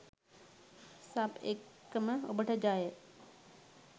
Sub එක්කම ඔබට ජය.